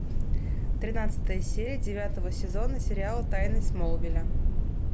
тринадцатая серия девятого сезона сериала тайны смолвиля